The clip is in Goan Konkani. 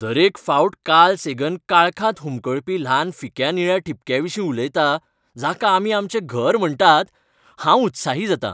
दरेक फावट कार्ल सेगन काळखांत हुमकळपी ल्हान फिक्या निळ्या ठिपक्या विशीं उलयता, जाका आमी आमचें घर म्हण्टात, हांव उत्साही जातां.